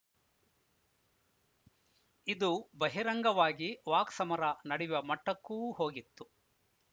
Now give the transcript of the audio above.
ಇದು ಬಹಿರಂಗವಾಗಿ ವಾಕ್ಸಮರ ನಡೆಯುವ ಮಟ್ಟಕ್ಕೂ ಹೋಗಿತ್ತು